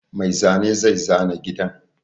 Mai zane zai zana gidan.